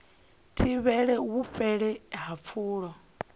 thivhele u fhela ha pfulo